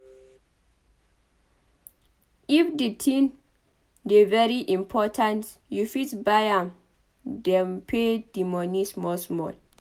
If di thing dey very important you fit buy am then pay di moni small small